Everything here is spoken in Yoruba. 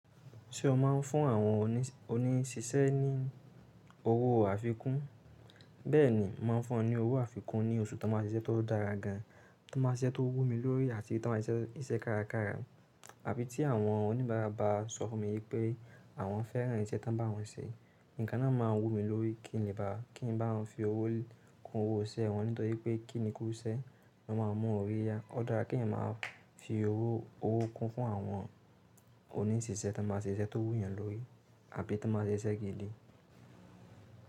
Ṣé o máa ń fún àwọn oníṣisẹ́ ní owó àfikún? Bẹ́ẹ̀ni, mo màá n fún wọn ní owó àfikún ní oṣù tí wọ́n bá ṣe iṣẹ́ tó dára gan, tí wọ́n bá ṣe iṣẹ́ tó wú mi lórí àti tí wọ́n bá ṣe iṣẹ́ kárakára. Àbí tí àwọn oníbàárà bá sọ fún mi wípé àwọn fẹ́ràn iṣẹ́ tań bá wọn ṣe, nǹkan náà máa wú mi lórí kí n lè bá a, kí n lè bá wọn fi owó kún owó iṣẹ́ wọn nítorí pé kí ni kúú iṣẹ́, lọ́ máa n mú orí yá. Ó dára kí ènìyàn máa fi owó kún fún àwọn oníṣisẹ́ tan bá ṣe iṣẹ́ tó wú yàn lórí àbí tí wọ́n bá ṣe iṣẹ́ gidi.